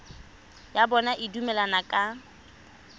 ya bona e dumelaneng ka